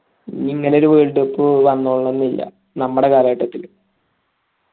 ഇനി ഇങ്ങനെ ഒരു world cup വന്നോളണമെന്നില്ല നമ്മൾ കാലഘട്ടത്തിൽ